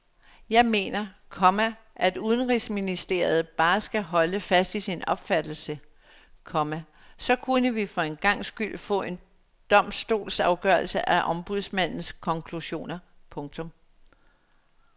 Jeg mener, komma at udenrigsministeriet bare skal holde fast i sin opfattelse, komma så kunne vi for en gangs skyld få en domstolsafgørelse af ombudsmandens konklusioner. punktum